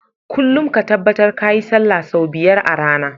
Kullun ka tabbar kayi sallah sau biyar a rAna